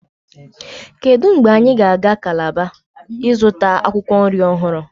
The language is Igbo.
kedu mgbe anyị ga-aga Calabar ịzụta akwụkwọ nri ọhụrụ